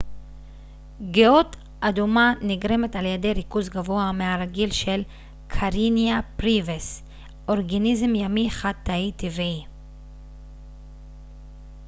גאות אדומה נגרמת על ידי ריכוז גבוה מהרגיל של karenia brevis אורגניזם ימי חד-תאי טבעי